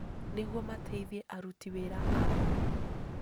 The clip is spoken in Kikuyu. nĩguo mateithie aruti wĩra ao.